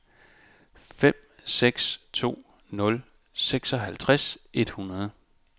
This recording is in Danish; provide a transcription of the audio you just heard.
fem seks to nul syvoghalvtreds et hundrede